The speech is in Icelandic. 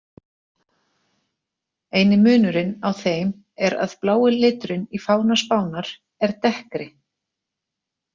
Eini munurinn á þeim er að blái liturinn í fána Spánar er dekkri.